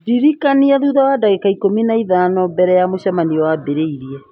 ndirikania thutha wa ndagĩka ikũmi na ithano mbere ya mũcemanio wambĩrĩirie